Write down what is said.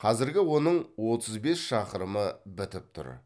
қазіргі оның отыз бес шақырымы бітіп тұр